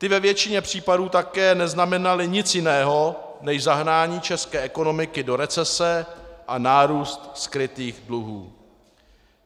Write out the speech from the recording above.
Ty ve většině případů také neznamenaly nic jiného než zahnání české ekonomiky do recese a nárůst skrytých dluhů.